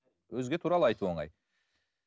өзге туралы айту оңай